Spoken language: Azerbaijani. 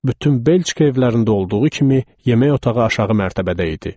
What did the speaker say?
Bütün Belçika evlərində olduğu kimi, yemək otağı aşağı mərtəbədə idi.